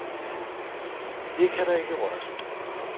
Det kan der ikke røres ved.